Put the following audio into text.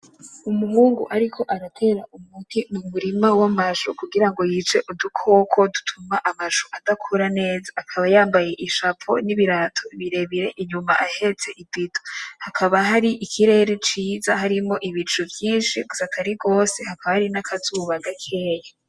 Umuhungu ariko aratera umuti mu murima w’amashu kugirango yice udukoko dutuma amashu adakura neza, akaba yambaye ishapo n’ibirato birebire inyuma ahetse ibido, hakaba hari ikirere ciza harimwo ibicu vyinshi gusa atari gwose hakaba hari n’akazuba gakeya.